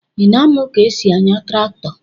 Ị na-amụ ka esi ányà traktọ?